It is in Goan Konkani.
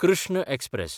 कृष्ण एक्सप्रॅस